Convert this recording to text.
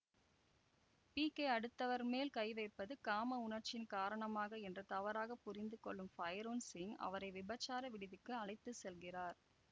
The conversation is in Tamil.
பிகே அடுத்தவர் மேல் கை வைப்பது காம உணர்ச்சியின் காரணமாக என்று தவறாக புரிந்துகொள்ளும் பைரோன் சிங் அவரை விபச்சார விடுதிக்கு அழைத்து செல்கிறார்